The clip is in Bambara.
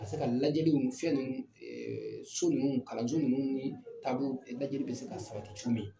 Ka se ka lajɛjliw fɛn ninnu so ninnu kalanju ninnu ni taabolo lajɛliw bɛ se ka sabati cogo min.